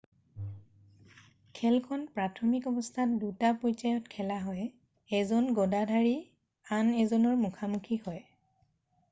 খেলখন প্ৰাথমিক অৱস্থাত দুটা পৰ্যায়ত খেলা হয় এজন গদাধাৰী আন এজনৰ মুখামুখি হয়